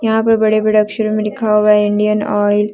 यहां पे बड़े बड़े अक्षरों में लिखा है इंडियन ऑयल ।